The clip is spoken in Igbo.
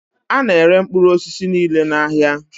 Ana ere mkpụrụ osisi niile n' áhiá.